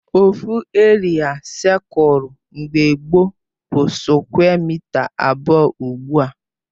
Ofu eria seculu mgbe gbo bụ skwe mịta abụọ ugbua